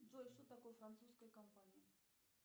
джой что такое французская компания